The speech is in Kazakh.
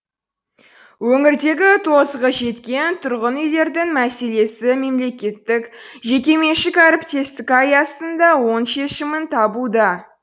өңірдегі тозығы жеткен тұрғын үйлердің мәселесі мемлекеттік жекеменшік әріптестік аясында оң шешімін табуда